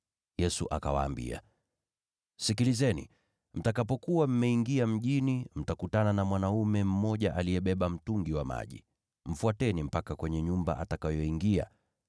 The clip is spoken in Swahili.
Yesu akawaambia, “Tazameni, mtakapokuwa mkiingia mjini, mtakutana na mwanaume amebeba mtungi wa maji. Mfuateni mpaka kwenye nyumba atakayoingia.